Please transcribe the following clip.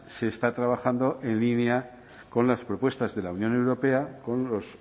se está trabajando en línea con las propuestas de la unión europea con los